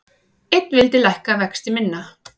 Einn vildi lækka vexti minna